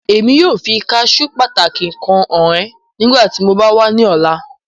Emi yoo fi caṣeu pataki kan han ọ nigbati mo ba wa ni ọla